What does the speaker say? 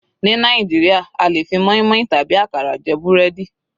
Ní Nàìjíríà a lè fi moinmoin tàbí àkàrà jẹ búrẹ́dì.